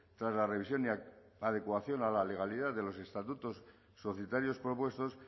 tras la revisión y adecuación a la legalidad de los estatutos societarios propuestos